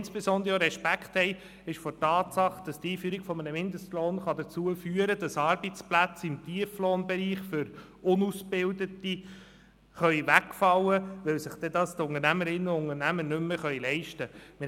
Insbesondere haben wir auch Respekt vor der Tatsache, dass die Einführung eines Mindestlohns dazu führen kann, dass Arbeitsplätze im Tieflohnbereich für Unausgebildete wegfallen könnten, weil dann die Unternehmerinnen und Unternehmer sich diese nicht mehr leisten können.